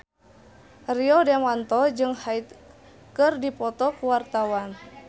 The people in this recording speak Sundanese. Rio Dewanto jeung Hyde keur dipoto ku wartawan